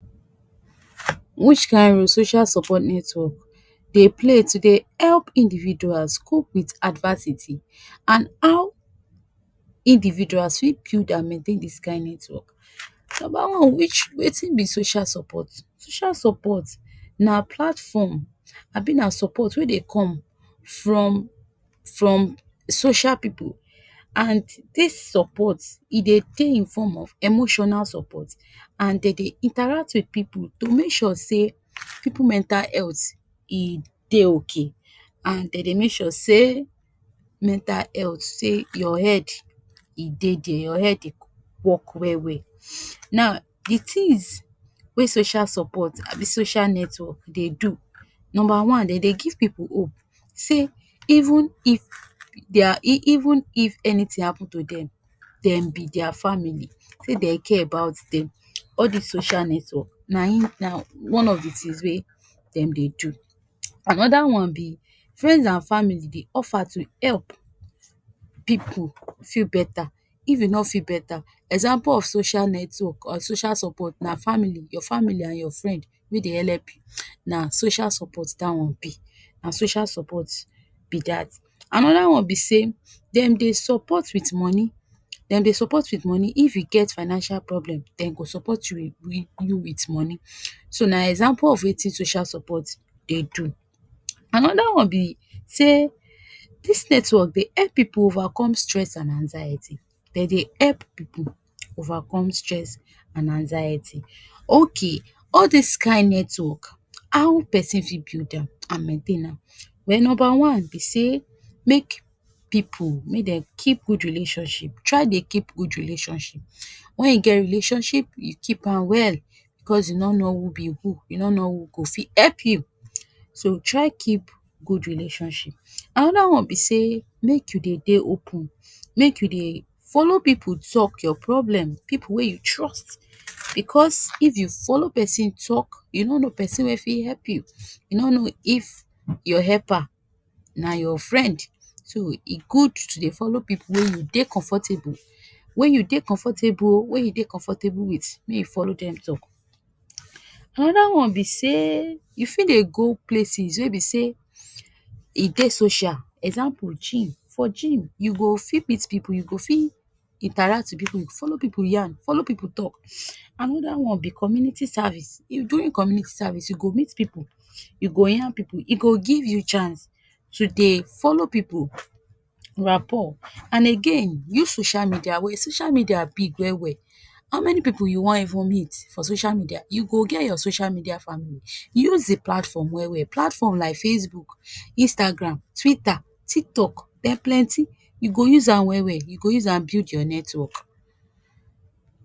Which kain role social support network dey play to dey help individuals cope with adversity, and how individuals fit build and maintain this kain network. Number one which wetin be social support? Social support na platform abi na support wey dey come from from social pipu, and this support e dey dey in form of emotional support and dey dey interact with pipu to make sure sey pipu mental health e dey okay, and dey dey make sure sey mental health sey your head e dey dia, your head dey work well well. Now de things wey social support abi social network dey do. Number one, dey dey give pipu hope sey even if dia even if anything happen to dem, dem be dia family, sey dey care about dem. All dis social network na im na one of de things wey dem dey do. Another one be friends and family dey offer to help pipu feel beta if you no feel beta. Example of social network or social support na family, your family and your friend wey dey help you, na social support dat one be, na social support be dat. Another one be sey dem dey support dem dey support with moni, dem dey support with moni if you get financial problem dem go support you with moni. So na example of wetin social support dey do. Another one be sey dis network dey help pipu overcome stress and anxiety. dey dey help pipu overcome stress and anxiety. Okay all dis kain network how pesin fit build am and maintain am? Well number one be sey make pipu make dem keep good relationship. Try dey keep good relationship. When you get relationship, you keep am well because you no know who be who, you no know who go fit help you. So try keep good relationship. Another one be sey make you dey dey open. Make you dey follow pipu talk your problem. Pipu wey you trust. Because if you follow pesin talk, you no know pesin wey fit help you, you no know if your helper na your friend. So e good to dey follow pipu wey you dey comfortable, wey you dey comfortable, wey you dey comfortable with, make you follow dem talk. Another one be sey you fit dey go places wey be sey e dey social. Example gym. For gym you go fit meet pipu, you go fit interact with pipu, follow pipu yan, follow pipu talk. Another one be community service. During community service you go meet pipu. You go yan pipu. E go give you chance to dey follow pipu rapport. And again use social media. social media big well well. How many pipu you wan even meet for social media. You go get your social media family. Use de platform well well. Platform like Facebook, Instagram, Twitter, Tiktok, dem plenty, you go use am well well, you go use am build your network.